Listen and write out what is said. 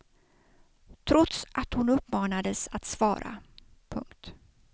Trots att hon uppmanades att svara. punkt